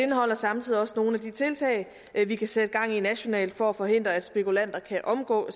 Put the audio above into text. indeholder samtidig også nogle af de tiltag vi kan sætte gang i nationalt for at forhindre at spekulanter kan omgå